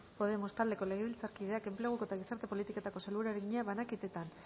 podemos taldeko legebiltzarkideak enpleguko eta gizarte politiketako sailburuari egina banaketetan